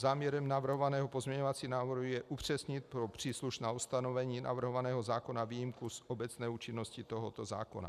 Záměrem navrhovaného pozměňovacího návrhu je upřesnit pro příslušná ustanovení navrhovaného zákona výjimku z obecné účinnosti tohoto zákona.